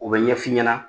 O bɛ ɲɛ f'i ɲɛna